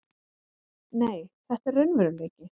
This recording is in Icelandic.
Nei, þetta er raunveruleiki.